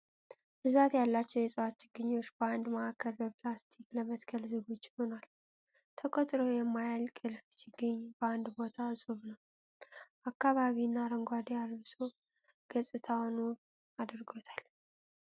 ብዛት ያላቸዉ የእፅዋት ችግኞች በአንድ ማዕከል በፕላስቲክ ለመትከል ዝግጁ ሆኗል። ተቆጥሮ የማያልቅ እልፍ ችግኝ በአንድ ቦታ እፁብ ነዉ። አካባቢን አረንጓዴ አልብሶ ገፅታዉን ዉብ አድርጎታል።